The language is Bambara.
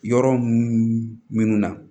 Yɔrɔ munun na